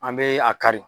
An bɛ a kari